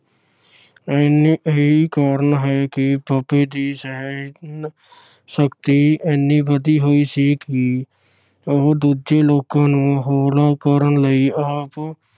ਇੰਨੇ ਇਹੀ ਹੀ ਕਾਰਨ ਹੈ ਕਿ ਬਾਬੇ ਦੀ ਸਹਿਣ ਸ਼ਕਤੀ ਇੰਨੀ ਵਧੀ ਹੋਈ ਸੀ ਕਿ ਉਹ ਦੂਜੇ ਲੋਕਾਂ ਨੂੰ ਹੋਲਾ ਕਰਨ ਲਈ ਆਪ